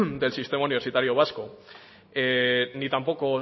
del sistema universitario vasco ni tampoco